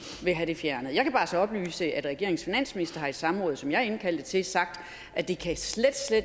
have det fjernet jeg kan faktisk oplyse at regeringens finansminister har i et samråd som jeg indkaldte til sagt at det slet slet